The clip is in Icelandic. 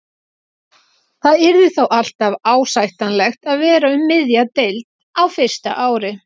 Það yrði þó alltaf ásættanlegt að vera um miðja deild á fyrsta ári.